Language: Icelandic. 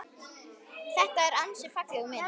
Þetta er ansi falleg mynd.